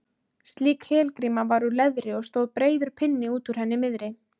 slík helgríma var úr leðri og stóð breiður pinni út úr henni miðri